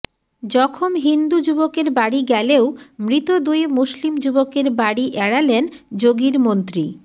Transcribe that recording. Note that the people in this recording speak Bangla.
জখম হিন্দু যুবকের বাড়ি গেলেও মৃত দুই মুসলিম যুবকের বাড়ি এড়ালেন যোগীর মন্ত্রী